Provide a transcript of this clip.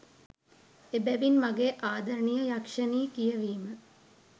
එබැවින් මගේ ආදරණීය යක්ෂණී කියවීම